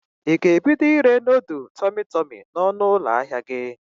Ị ga-ebido ire nodul tọmị tọmị n'ọnụ ụlọ ahịa gi?